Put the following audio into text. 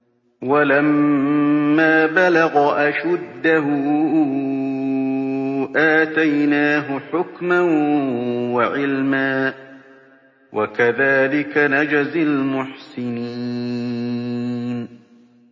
وَلَمَّا بَلَغَ أَشُدَّهُ آتَيْنَاهُ حُكْمًا وَعِلْمًا ۚ وَكَذَٰلِكَ نَجْزِي الْمُحْسِنِينَ